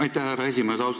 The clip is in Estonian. Aitäh, härra esimees!